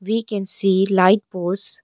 We can see light pose.